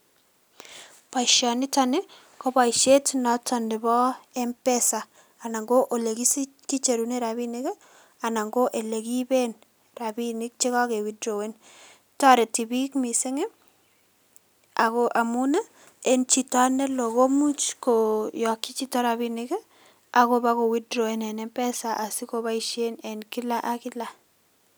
Boishoniton koboishet noton neboo mpesa anan ko elekicherunen rabinik anan ko elekiiben rabinik chekoke witrowen, toreti biik mising akoo amuun en chito neloo komuch koyokyii chito rabinik akoboko witrowen en mpesa asioboishen en kilak ak kilak.